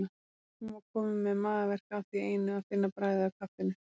Hún var komin með magaverk af því einu að finna bragðið af kaffinu.